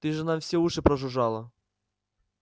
ты же нам все уши прожужжала